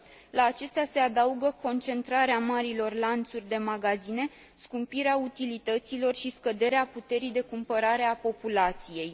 La acestea se adaugă concentrarea marilor lanțuri de magazine, scumpirea utilităților și scăderea puterii de cumpărare a populației.